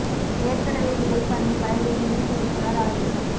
வேர்க்கடலை விதைப் பண்ணை வயலில் இணை இயக்குனர் ஆய்வு